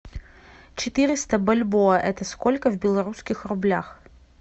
четыреста бальбоа это сколько в белорусских рублях